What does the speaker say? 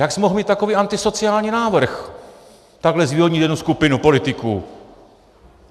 Jak jsi mohl mít takový antisociální návrh, takhle zvýhodnit jednu skupinu politiků?